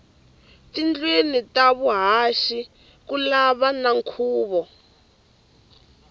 tindlwini ta vuhaxi kulava na khuvo